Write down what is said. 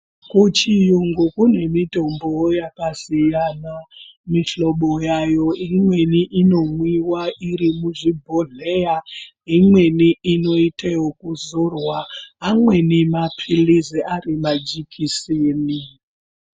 Kuchiyungu kune mitombowo yakasiyana mishobo yayo. Imweni inomwiwa iri muzvibhodhleya. Imweni inoite okuzorwa, imweni maphirizi ari majekisini.